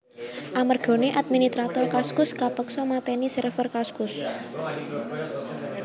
Amergane adminitrator Kaskus kapeksa mateni server Kaskus